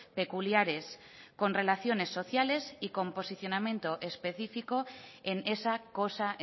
peculiares con relaciones sociales y con posicionamiento especifico en esa cosa